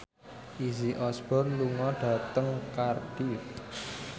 Izzy Osborne lunga dhateng Cardiff